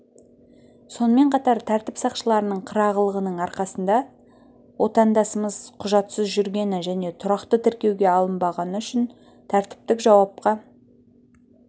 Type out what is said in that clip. сонымен қатар тәртіп сақшыларының қырағылығының арқасында отандасымыз құжатсыз жүргені және тұрақты тіркеуге алынбағаны үшін тәртіптік жауапқа